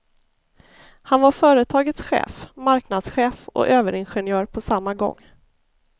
Han var företagets chef, markadschef och överingenjör på samma gång.